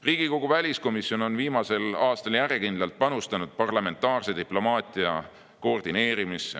Riigikogu väliskomisjon on viimasel aastal järjekindlalt panustanud parlamentaarse diplomaatia koordineerimisse.